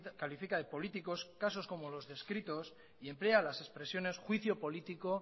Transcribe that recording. califica de políticos casos como los descritos y emplea las expresiones juicio político